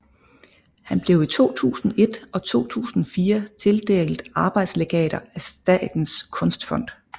Han blev i 2001 og 2004 tildelt arbejdslegater af Statens Kunstfond